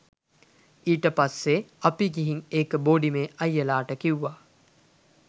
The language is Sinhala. ඊට පස්සේ අපි ගිහින් ඒක බෝඩිමේ අයියලට කිව්ව